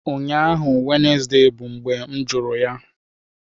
Ụnyaahụ Wednesday bụ mgbe m jụrụ ya!